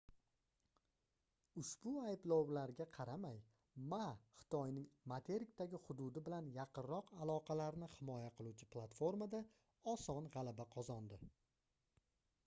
ushbu ayblovlarga qaramay ma xitoyning materikdagi hududi bilan yaqinroq aloqalarni himoya qiluvchi platformada oson gʻalaba qozondi